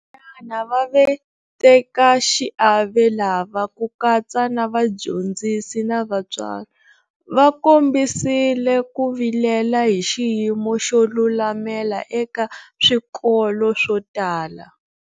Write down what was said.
Va vatekaxiave lava - ku katsa na vadyondzisi na vatswari - va kombisile ku vilela hi xiyimo xo lulamela eka swikolo swo tala.